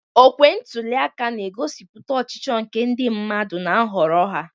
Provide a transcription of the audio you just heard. Okwe ntuli aka na-egosipụta ọchịchọ nke ndị mmadụ na nhọrọ ha.